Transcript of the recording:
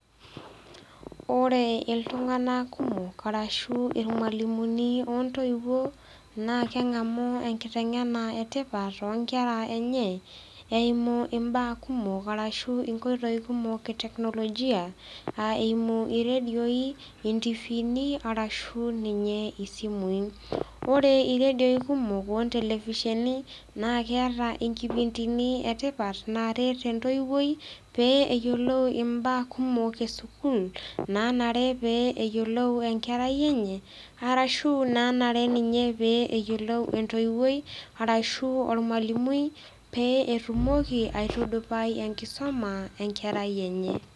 Ore iltung'ana kumok arashu aa ilmwalimuni o ntoiwuo naa keng'amu enkiteng'ena e tipat too inkera enye, eimu imbaa kumok arashu imbaa kumok e teknologia, aa eimu iredioi, intifiini, ashu niye isimui. Ore irediooi kumok o ntelefisheni naa keata inkipintini e tipat naaret entoiwuoi, pee eyolou imbaa kumok e sukuul, naanare pee eyolou enkerai enye, arashu naa ninye peyiolou entoiwuoi enye, arashu olmwalimui, pee etumoki aitudupai enkisoma enkerai enye.